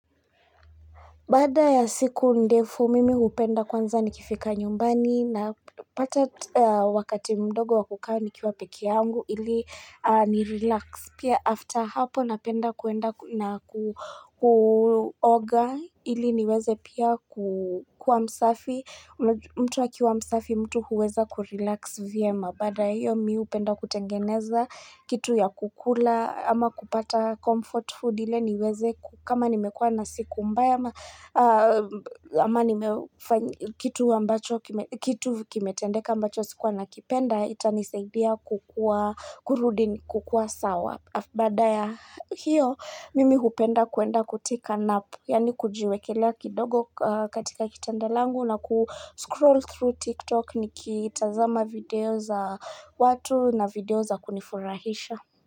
Baada ya siku ndefu mimi upenda kwanza ni kifika nyumbani na pata wakati mdogo wakukaa ni kiwa peke yangu ili ni relax pia after hapo napenda kuenda na kuoga ili niweze pia kuwa msafi mtu akiwa msafi mtu huweza kurelax vyema baada ya hio mi upenda kutengeneza kitu ya kukula ama kupata comfort food ile niweze kama nimekuwa na siku mbaya kitu kimetendeka ambacho sikuwa na kipenda itanisaidia kukua kurudi kukua sawa baada ya hiyo mimi hupenda kuenda kutika napu yani kujiwekelea kidogo katika kitanda langu na ku scroll through tiktok niki itazama video za watu na video za kunifurahisha.